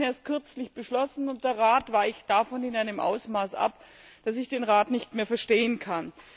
Wir haben ihn erst kürzlich beschlossen, und der Rat weicht davon in einem Ausmaß ab, dass ich den Rat nicht mehr verstehen kann.